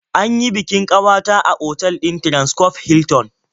An yi bikin ƙawata a otal ɗin Transcorp Hilton.